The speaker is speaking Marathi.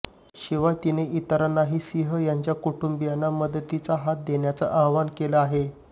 शिवाय तिने इतरांनाही सिंह यांच्या कुटुंबीयांना मदतीचा हात देण्याचं आवाहन केलं आहे